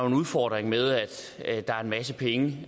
en udfordring med at der er en masse penge